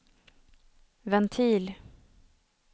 ventil